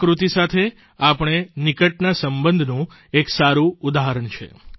પ્રકૃતિ સાથે આપણો નિકટના સંબંધનું એક સારૂં ઉદાહરણ છે